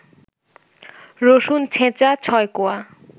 রসুন ছেঁচা ৬ কোয়া